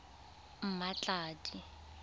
mmatladi